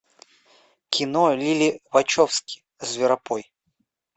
кино лили вачовски зверопой